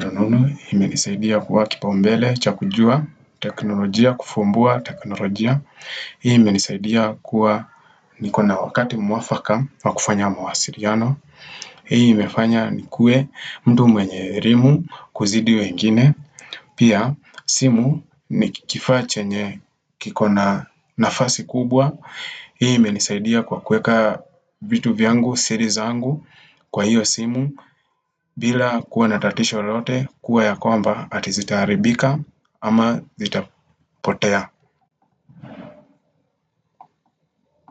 rununu imenisaidia kuwa kipaumbele, cha kujua, teknolojia, kufumbua teknolojia. Hii imenisaidia kuwa nikona wakati mwafaka wakufanya mawasiliano. Hii imefanya nikue mtu mwenye elimu kuzidi wengine. Pia simu ni kifaa chenye kikona nafasi kubwa. Hii imenisaidia kwa kueka vitu vyangu, siri zangu kwa hiyo simu bila kuwa natatisho lolote kuwa ya kwamba ati zitaharibika ama zitapotea.